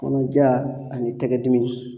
Kɔnɔja ani tɛgɛ dimi.